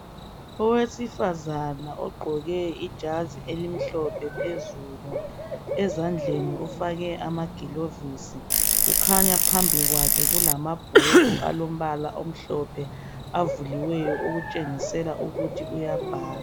Owesifazana ogqoke ijazi elimhlophe phezulu ezandleni ufake amagilovisi , kukhanya phambi kwakhe kulamabhuku alombala omhlophe avuliweyo okutshengisela ukuthi uyabhala.